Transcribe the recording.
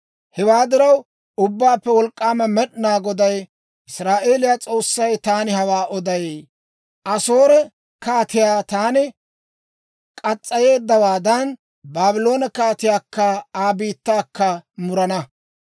Hewaa diraw, Ubbaappe Wolk'k'aama Med'inaa Goday, Israa'eeliyaa S'oossay, taani hawaa oday: Asoore kaatiyaa taani mureeddawaadan, Baabloone kaatiyaakka Aa biittaakka murana.